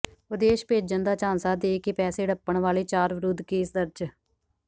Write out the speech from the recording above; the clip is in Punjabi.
ਵਿਦੇਸ਼ ਭੇਜਣ ਦਾ ਝਾਂਸਾ ਦੇ ਕੇ ਪੈਸੇ ਹੜੱਪਣ ਵਾਲੇ ਚਾਰ ਵਿਰੁੱਧ ਕੇਸ ਦਰਜ